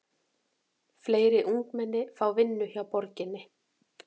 Fleiri ungmenni fá vinnu hjá borginni